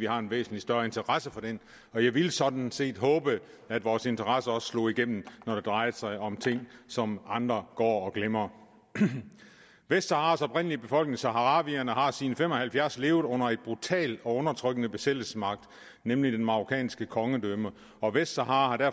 vi har en væsentlig større interesse for dem og jeg ville sådan set håbe at vores interesse også slog igennem når det drejede sig om ting som andre går og glemmer vestsaharas oprindelige befolkning saharawierne har siden nitten fem og halvfjerds levet under en brutal og undertrykkende besættelsesmagt nemlig det marokkanske kongedømme og vestsahara